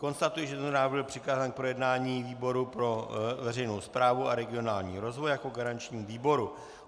Konstatuji, že tento návrh byl přikázán k projednání výboru pro veřejnou správu a regionální rozvoj jako garančnímu výboru.